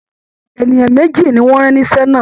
Ènìyàn méjì ni wọ́n rán níṣẹ́ náà